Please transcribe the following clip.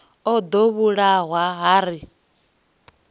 o ḓo vhulawa ha ri